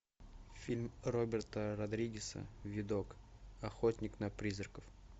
фильм роберта родригеса видок охотник на призраков